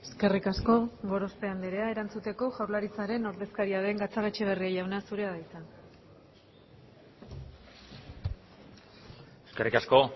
eskerrik asko gorospe andrea erantzuteko jaurlaritzaren ordezkaria den gatzagaetxebarria jauna zurea da hitza eskerrik asko